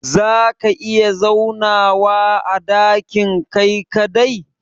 za ka iya zaunawa a dakin Kai kadai?